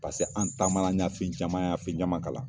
an taama an y'a fɛn caman ye an y'a fɛn caman kalan